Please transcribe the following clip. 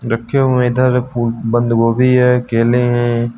रखे हुए इधर फूड बंदगोभी है केले हैं।